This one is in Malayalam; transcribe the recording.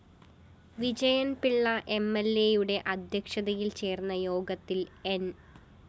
വിജയന്‍പിള്ള എംഎല്‍എയുടെ അദ്ധ്യക്ഷതയില്‍ ചേര്‍ന്ന യോഗത്തില്‍ ന്‌